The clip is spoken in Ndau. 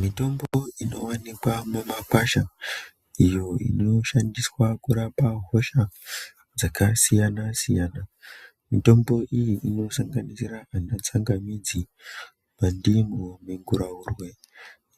Mitombo inoonekwa mumakwasha iyo inoshandiswa kurapa hosha , dzakasiyana-siyana mitombo iyi inosanganisira tsangamidzi, ndimu, minguraurwe